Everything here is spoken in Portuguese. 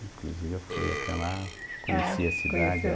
Inclusive, eu fui até lá. Ah, é? Conheci a cidade. Conheceu?